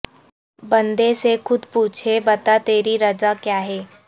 بندے سے کھود پوچھے بتا تیری رجا کیا ہے